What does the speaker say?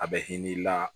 A bɛ hin'i la